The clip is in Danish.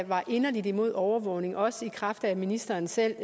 var inderlig imod overvågning også i kraft af at ministeren selv